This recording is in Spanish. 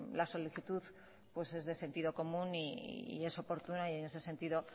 la solicitud pues es de sentido común y es oportuna y en ese sentido